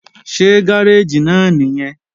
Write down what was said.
Ṣé gáréèjì náà nìyẹn?